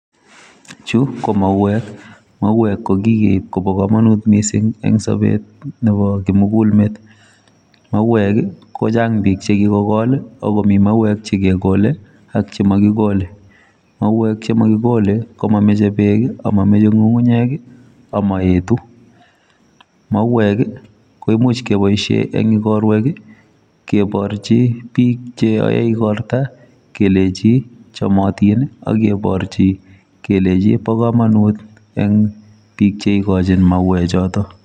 Chu, ko mauek. Mauek ko kikeib kobo komonut missing eng' sobet nebo kimugulmet. Mauek, ko chang' biik che kikogol, agomi mauek che kegole, ak chemakigole. Mauek che makigole, ko mameche beek, amameche ng'ung'unyek, amaetu. Mauek, koimuch keboisie eng' ikorwek, keborchi biik che yae ikorta, kelechi chamatin, ageborchi kelechi bo komonut eng' biik che ikochin mauek chotok.